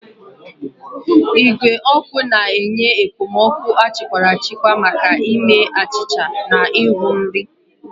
Igwe ọkụ na-enye okpomọkụ achịkwara achikwa maka ime achịcha na ịhu nri.